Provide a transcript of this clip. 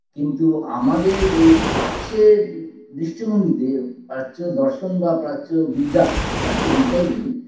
কিন্তু আমাদের এই প্রাচ্যের দৃষ্টিভঙ্গিতে প্রাচ্য দর্শন বা প্রাচ্য বিদ্যা প্রাচ্য বিদ্যাই বলি